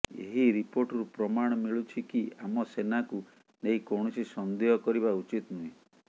ଏହି ରିପୋର୍ଟରୁ ପ୍ରମାଣ ମିଳୁଛି କି ଆମ ସେନାକୁ ନେଇ କୌଣସି ସନ୍ଦେହ କରିବା ଉଚିତ ନୁହେଁ